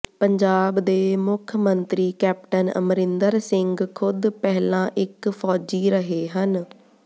ਪੰਜਾਬ ਦੇ ਮੁੱਖ ਮੰਤਰੀ ਕੈਪਟਨ ਅਮਰਿੰਦਰ ਸਿੰਘ ਖ਼ੁਦ ਪਹਿਲਾਂ ਇੱਕ ਫ਼ੌਜੀ ਰਹੇ ਹਨ